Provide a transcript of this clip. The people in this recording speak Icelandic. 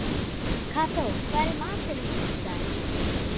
Kató, hvað er í matinn á fimmtudaginn?